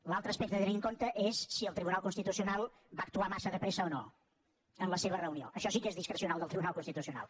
l’altre aspecte a tenir en compte és si el tribunal constitucional va actuar massa de pressa o no en la seva reunió això sí que és discrecional del tribunal constitucional